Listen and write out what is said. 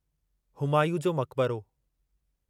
हुमायूं जो मकबरो